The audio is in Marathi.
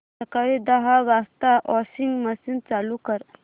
सकाळी दहा वाजता वॉशिंग मशीन चालू कर